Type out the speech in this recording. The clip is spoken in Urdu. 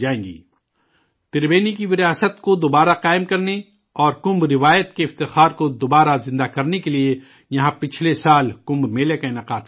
تربینی کی وراثت کو دوبارہ قائم کرنے اور کمبھ کی روایت کے امتیاز کو دوبارہ زندہ کرنے کے لیے یہاں پچھلے سال کمبھ میلہ کا انعقاد کیا گیا تھا